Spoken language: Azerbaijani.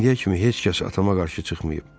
İndiyə kimi heç kəs atama qarşı çıxmayıb.